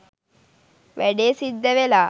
වැඩේ සිද්ධ වෙලා